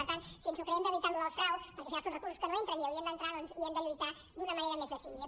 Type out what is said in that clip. per tant si ens creiem de veritat això del frau perquè al final són recursos que no entren i haurien d’entrar hi hem de lluitar d’una manera més decidida